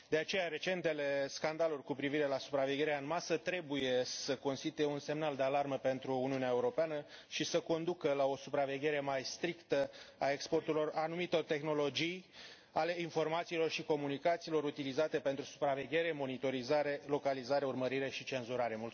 De aceea, recentele scandaluri cu privire la supravegherea în masă trebuie să constituie un semnal de alarmă pentru Uniunea Europeană și să conducă la o supraveghere mai strictă a exporturilor anumitor tehnologii ale informațiilor și comunicațiilor utilizate pentru supraveghere, monitorizare, localizare, urmărire și cenzurare.